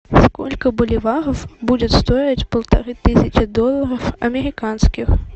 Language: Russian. сколько боливаров будет стоить полторы тысячи долларов американских